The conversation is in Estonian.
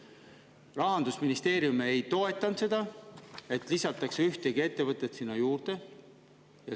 Aga tegelikkuses Rahandusministeerium ei toetanud, et lisataks ühtegi ettevõtet juurde.